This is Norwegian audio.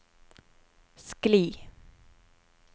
skli